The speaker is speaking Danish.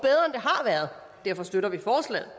derfor støtter vi forslaget